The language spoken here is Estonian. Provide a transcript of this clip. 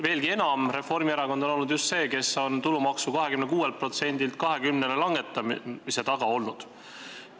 Veelgi enam, Reformierakond on just see, kes on tulumaksu 26%-lt 20%-le langetamise taga olnud.